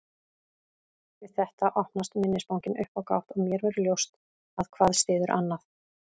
Við þetta opnast minnisbankinn upp á gátt og mér verður ljóst að hvað styður annað.